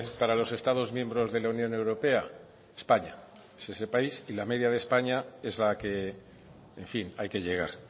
para los estados miembros de la unión europea españa es ese país y la media de españa es la que en fin hay que llegar